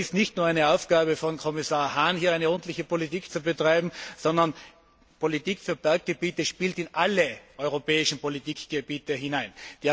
Aber es ist nicht nur eine Aufgabe von Kommissar Hahn, hier eine ordentliche Politik zu betreiben, denn die Politik für Berggebiete spielt in alle europäischen Politikgebiete hinein.